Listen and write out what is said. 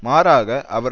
மாறாக அவர்